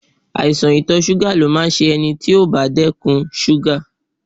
Àìsàn ìtọ̀ ṣúgà ni ó máa ń ṣe ẹni tó bá kúndùn ṣúgà